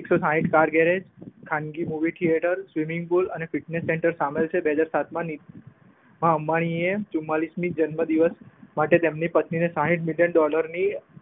એકસો સાહીઠ car garage ખાનગી મુવી થિયેટર સવિનીંગ પુલ અને ફિટનેશ સેન્ટર સામેલ છે. બે હજાર સાતમા આ અંબાણી એ ચુમાંલીશમી જન્મ દિવશ માટે તેમની પત્નીને સાહીઠ મીટર ડોલરની